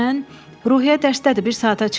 Ruhiyyə dərsdədir, bir saata çıxacaq.